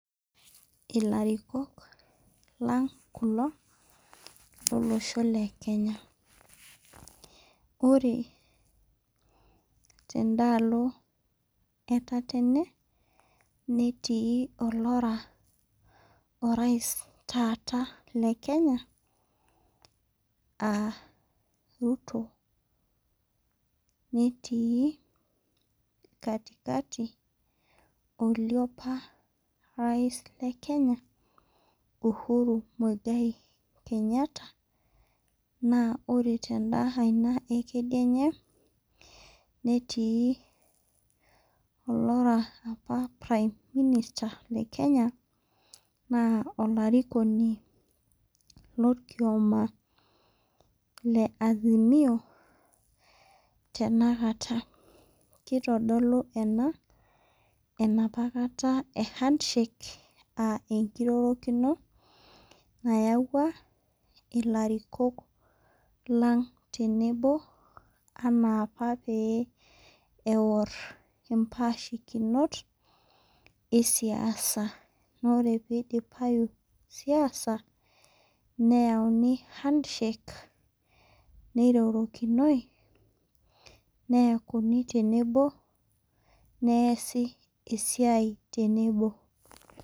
Ilarikok lang' kulo lolosho le Kenya. Ore tendaalo e tatane, netii olara orais taata le Kenya aa Ruto, netii katikati ole oparais le Kenya Uhuru Mwigai Kenyatta, naa ore tenda kai aina e kedianye, netii olara opa prime minister opa le Kenya naa olarikoni lolkioma le Azimio, tenakata. Keitodolu ena enapa kata e handshake aa enkirorokino nayiauwa ilarikok lang' tenebo anaa opa pee ewor impaashikinot, e siasa. Naa ore pee eidipayu siasa, neyauni handshake, neirorokinoi, neakuni tenebo, neasi esiai tenebo.